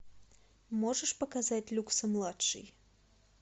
можешь показать люксо младший